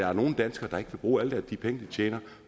er nogle danskere der ikke vil bruge alle de penge de tjener